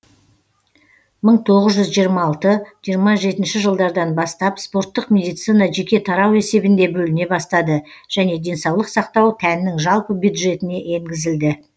мың тоғыз жүз жиырмы алты жиырма жетінші жылдардан бастап спорттық медицина жеке тарау есебінде бөліне бастады және денсаулық сақтау тәннің жалпы бюджетіне енгізілді